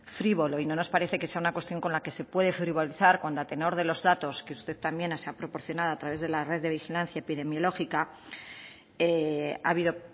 frívolo y no nos parece que sea una cuestión con la que se puede frivolizar cuando a tenor de los datos que usted también se ha proporcionado a través de la red de vigilancia epidemiológica ha habido